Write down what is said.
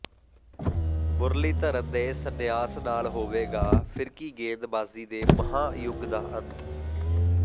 ਮੁਰਲੀਧਰਨ ਦੇ ਸੰਨਿਆਸ ਨਾਲ ਹੋਵੇਗਾ ਫਿਰਕੀ ਗੇਂਦਬਾਜ਼ੀ ਦੇ ਮਹਾਂ ਯੁੱਗ ਦਾ ਅੰਤ